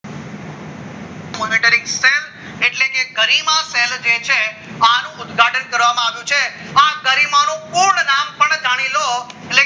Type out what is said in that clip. monetary expense એટલે કે Garima cell છે આનું ઉદ્ઘાટન કરવામાં આવ્યું છે આપ ગરિમા નું પૂર્ણ નામ પણ જાણી લો